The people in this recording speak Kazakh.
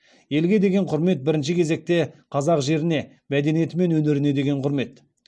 елге деген құрмет бірінші кезекте қазақ жеріне мәдениеті мен өнеріне деген құрмет